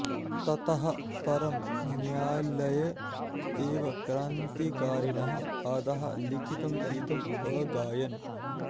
ततः परं न्यायलये एव क्रान्तिकारिणः अधः लिखितं गीतम् अगायन्